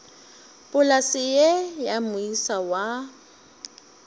polase ye ya moisa wa